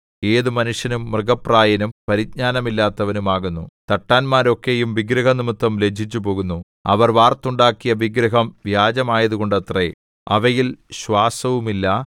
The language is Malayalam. ഏതു മനുഷ്യനും മൃഗപ്രായനും പരിജ്ഞാനമില്ലാത്തവനും ആകുന്നു തട്ടാന്മാരൊക്കെയും വിഗ്രഹംനിമിത്തം ലജ്ജിച്ചുപോകുന്നു അവർ വാർത്തുണ്ടാക്കിയ വിഗ്രഹം വ്യാജമായതുകൊണ്ടത്രേ അവയിൽ ശ്വാസവുമില്ല